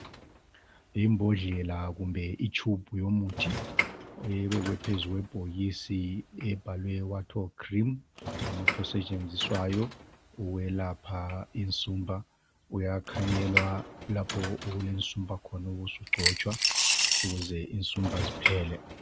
Imbodlela kumbe itshubhu yomuthi ebekwe phezu kwebhokisi ebhalwe wartol cream umuthi osetshenziswayo ukwelapha insumpa. Uyakhanyelwa lapho okulensumpa khona ubusugcotshwa ukuze insumpa ziphele.